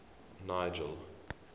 nigel